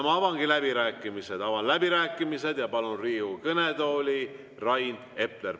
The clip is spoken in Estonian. Ma avan läbirääkimised ja palun Riigikogu kõnetooli Rain Epleri.